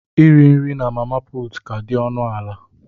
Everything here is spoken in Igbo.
Iri nri na mama puutu ka dị ọnụ ala